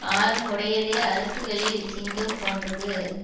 ஆறும் உடையதே அரசுகளில் சிங்கம் போன்றது